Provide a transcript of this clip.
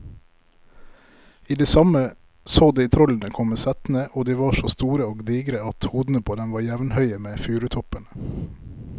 I det samme så de trollene komme settende, og de var så store og digre at hodene på dem var jevnhøye med furutoppene.